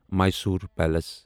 Mysore palace